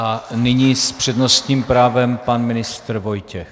A nyní s přednostním právem pan ministr Vojtěch.